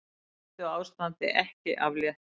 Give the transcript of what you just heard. Hættuástandi ekki aflétt